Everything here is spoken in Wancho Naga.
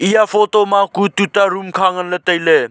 eya photo ma kue tuta room kha nganley tailey.